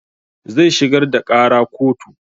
Zai shigar da ƙara kotu